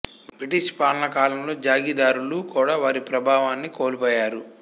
British పాలనా కాలంలో జాగీరుదారులు కూడా వారి ప్రాభవాన్ని కోల్పోయారు